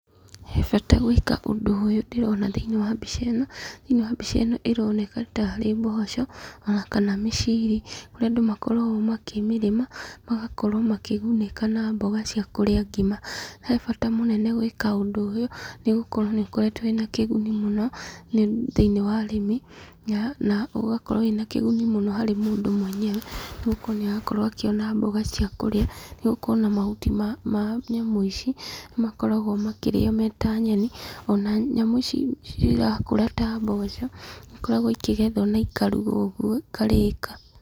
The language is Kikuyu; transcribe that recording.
He bata gwĩka ũndũ ũyũ ndĩrona thĩiniĩ wa mbica ĩno, thĩiniĩ wa mbica ĩno ĩroneka tarĩ mboco, ona kana miciiri, kũrĩa andũ makoragwo makĩmĩrĩma, magakorwo makĩgunĩka na mboga cia kũrĩa ngima. He bata mũnene gwĩka ũndũ ũyũ, nĩgũkorwo nĩ ũkoretwo wĩna kĩguni mũno thĩiniĩ wa ũrĩmi, na ũgakorwo wĩna kĩguni mũno harĩ mũndũ mwenyewe, nĩgũkorwo nĩ arakorwo akĩona mboga cia kũrĩa, nĩgũkorwo ona mahuti ma nyamũ ici, nĩ makoragwo makĩrĩo me ta nyeni, ona nyamũ ici cirakũra ta mboco, nĩ ikoragwo ikĩgethwo na ikarugwo ũguo ikarĩka.